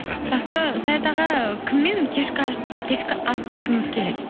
рахмет жақсы саят аға кіммен кешкі ас ішкіңіз келеді